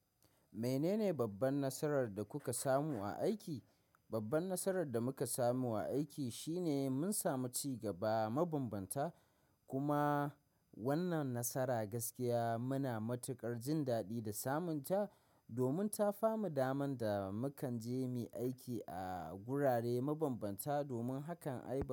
Menene babban nasarar da kuka samu a aiki? Babban nasarar da muka samu a aiki shine mun samu ci gaba mabambanta. Kuma wannan nasara gaskiya muna matuƙar jin daɗi da samunta domin ta famu daman da mukanje mu aiki a gurare mabambanta domin hakan ayi ba.